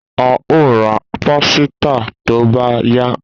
A o ra pàsìtà tó bá yá